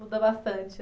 Muda bastante